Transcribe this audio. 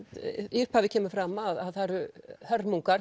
í upphafi kemur fram að það eru hörmungar